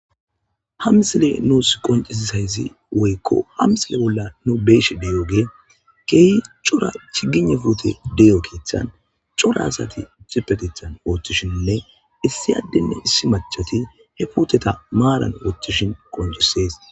hamsile nuus qoncisisayzi woykko hamsile bolla nu beesh deyoge keehi cora chigine fute deyo keeththan cora asati tipetithan ooththishinne issi addenne issi machati he puteta maalan ooththishin qoncisees